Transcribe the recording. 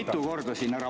Toetan Jaaku!